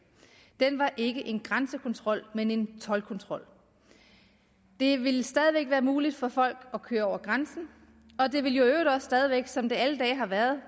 ikke var en grænsekontrol men en toldkontrol det ville stadig væk være muligt for folk at køre over grænsen og det ville jo i øvrigt også stadig væk som det alle dage har været